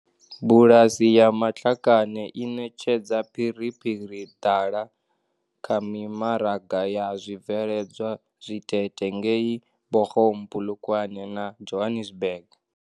Bulasi ya Matlakane i ṋetshedza phiriphiri dala kha mimaraga ya zwibveledzwa zwitete ngei Bochum, Polokwane na Johannesburg.